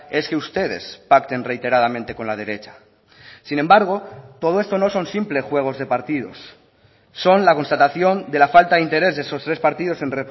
es que ustedes pacten reiteradamente con la derecha sin embargo todo esto no son simples juegos de partidos son la constatación de la falta de interés de esos tres partidos en